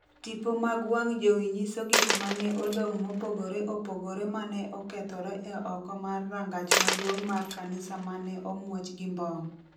tipo mag wang' jowi nyiso gik ma ne odong’ mopogore opogore ma ne okethore e oko mar rangach maduong’ mar kanisa ma ne omuoch gi mbom.